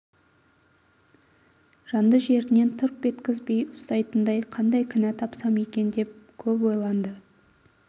жанды жерінен тырп еткізбей ұстайтындай қандай кінә тапсам екен деп көп ойланды